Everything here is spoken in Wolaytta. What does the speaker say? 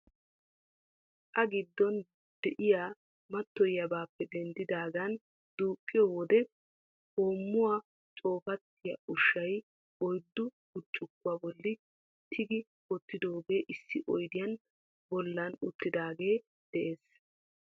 A giddon de'iya mattoyiyabappe denddidaaga duuqiyo wode hoomuwaa coopatiya ushshaa oyddu burccukuwa bolli tigi wottidooge issi oyddiya bollan uttidaagee de'ees.